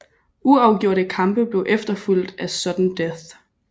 Uafgjorte kampe blev efterfulgt af sudden death